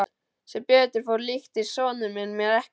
Sem betur fór líktist sonur minn mér ekki.